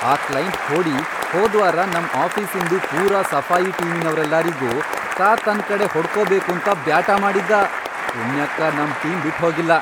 ಆ ಕ್ಲೈಂಟ್ ಖೋಡಿ ಹೋದ್ವಾರ ನಮ್ ಆಫೀಸಿನ್ದು ಪೂರಾ ಸಫಾಯಿ ಟೀಮಿನವ್ರೆಲ್ಲಾರಿಗೂ ತಾ ತನ್ ಕಡೆ ಹೊಡ್ಕೋಬೇಕಂತ ಬ್ಯಾಟಾ ಮಾಡಿದ್ದಾ. ಪುಣ್ಯಕ್ಕ, ನಮ್ ಟೀಮ್ ಬಿಟ್ಹೋಗಿಲ್ಲ.